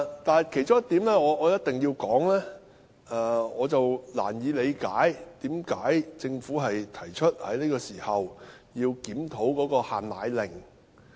但其中一點我必須說的是，我難以理解為甚麼政府在這個時候提出要檢討"限奶令"。